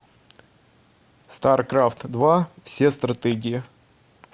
старкрафт два все стратегии